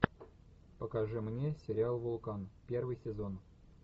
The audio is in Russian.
покажи мне сериал вулкан первый сезон